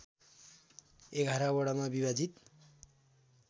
११ वडामा विभाजित